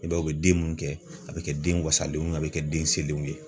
I b'a ye u bɛ den mun kɛ a bɛ kɛ den wasalenw a bɛ kɛ den selenw ye.